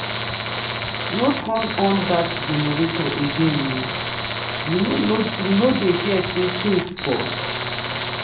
no turn on that generator again ohh you no you no dey hear say things cost?